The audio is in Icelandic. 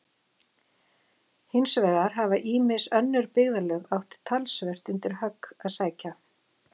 hins vegar hafa ýmis önnur byggðarlög átt talsvert undir högg að sækja